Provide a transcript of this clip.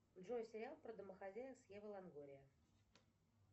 джой сериал про домохозяек с ева лонгория